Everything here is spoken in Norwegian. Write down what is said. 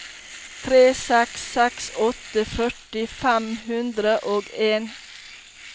tre seks seks åtte førti fem hundre og en